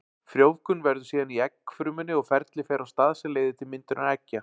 Frjóvgun verður síðan í eggfrumunni og ferli fer á stað sem leiðir til myndunar eggja.